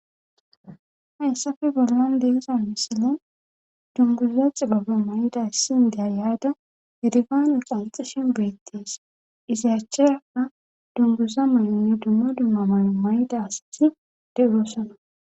Hayssafe bollan leeza misile dunguzza xibaba may'da issindeya yaada hedigane qanxishin beettees izaacheka dunguza may'onne dumma dumma mayo mayda asati de'urosona.